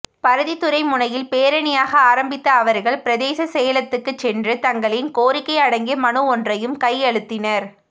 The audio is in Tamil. பருத்தித்துறை முனையில் பேரணியாக ஆரம்பித்த அவர்கள் பிரதேச செயலத்துக்கு சென்று தங்களின் கோரிக்கை அடங்கிய மனு ஒன்றையும் கையளித்தனர்